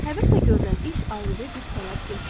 Həvəslə görülən iş ayrıca güc tələb etmir.